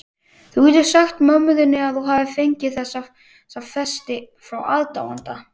Þú getur sagt mömmu þinni að þú hafir fengið þessa festi frá aðdáanda.